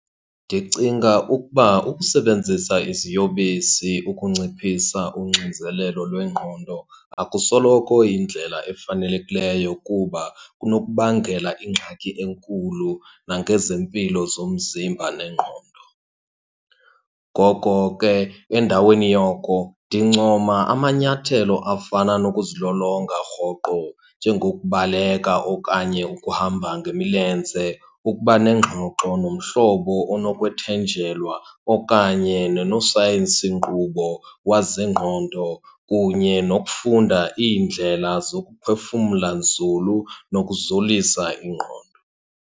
Ndicinga ukuba ukusebenzisa iziyobisi ukunciphisa uxinzelelo lwengqondo akusoloko iyindlela efanelekileyo, kuba kunokubangela ingxaki enkulu nangezempilo zomzimba nengqondo. Ngoko ke endaweni yoko ndincoma amanyathelo afana nokuzilolonga rhoqo, njengokubaleka okanye ukuhamba ngemilenze, ukuba nengxoxo nomhlobo onokwethenjelwa, okanye nonosayensi nkqubo wezengqondo, kunye nokufunda iindlela zokuphefumla nzulu, nokuzolisa ingqondo.